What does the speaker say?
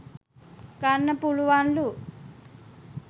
ගන්න පුළුවන්ලු.